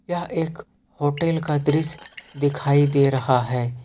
यह एक होटल का दृश्य दिखाई दे रहा है।